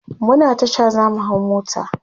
muna Tasha zamu hau mota